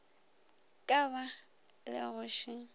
ka ba le go še